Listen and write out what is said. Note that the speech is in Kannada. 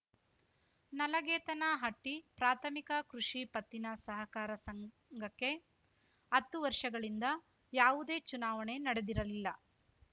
ನಲಗೇತನಹಟ್ಟಿಪ್ರಾಥಮಿಕ ಕೃಷಿ ಪತ್ತಿನ ಸಹಕಾರ ಸಂಘಕ್ಕೆ ಅತ್ತು ವರ್ಷಗಳಿಂದ ಯಾವುದೇ ಚುನಾವಣೆ ನಡೆದಿರಲಿಲ್ಲ